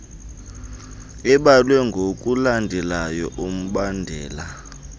ebalwe ngokulandela umbandela